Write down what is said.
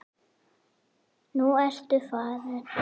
Nú ertu farinn.